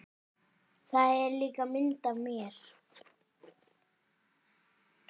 Þar er líka mynd af mér.